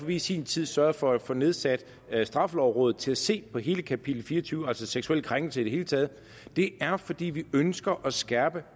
vi i sin tid sørgede for at få nedsat straffelovrådet til at se på hele kapitel fire og tyve om seksuelle krænkelser i det hele taget det er fordi vi ønsker at skærpe